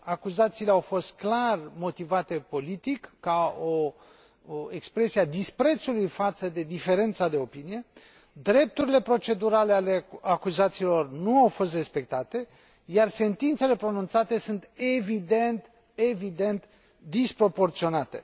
Acuzațiile au fost clar motivate politic, ca o expresie a disprețului față de diferența de opinie, drepturile procedurale ale acuzaților nu au fost respectate, iar sentințele pronunțate sunt evident disproporționate.